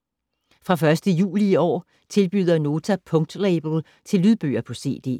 Fra 1. juli i år tilbyder Nota punktlabel til lydbøger på cd.